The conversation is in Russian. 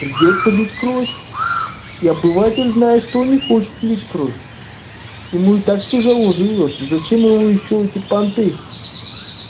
придётся лить кровь и обыватель знает что не хочет лить кровь ему и так тяжело живётся зачем ему ещё эти понты